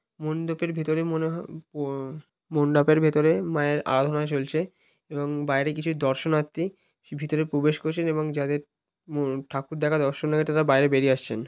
মন্ডপের ভেতরে মনে হ-- মণ্ডপের ভেতরে মায়ের আরাধনা চলছে এবং বাইরে কিছু দর্শনার্থী ভিতরে প্রবেশ করছেন এবং যাদের ম--ঠাকুর দেখা দর্শন তারা বাইরে বেরিয়ে আসছেন।